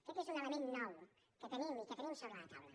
aquest és un element nou que tenim i que tenim sobre la taula